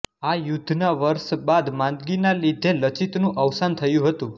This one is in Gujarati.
આ યુધ્ધના વર્ષ બાદ માંદગીના લીધે લચિતનું અવસાન થયું હતું